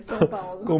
São Paulo.